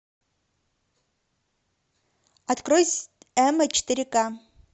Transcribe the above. открой эмма четыре ка